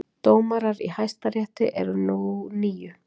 Dómarar í Hæstarétti eru nú níu